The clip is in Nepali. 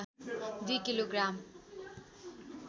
दुई किलो ग्राम